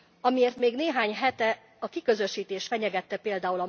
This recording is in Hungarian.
Amiért még néhány hete a kiközösítés fenyegette pl.